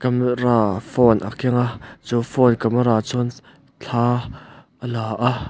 camera phone a keng a chu phone camera chuan thla a la a.